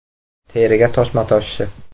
Teriga toshma toshishi.